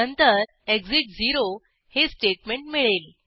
नंतर एक्सिट 0 हे स्टेटमेंट मिळेल